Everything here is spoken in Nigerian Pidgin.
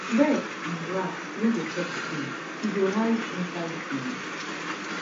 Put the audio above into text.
birds and rats no go chop seed e go hide inside ground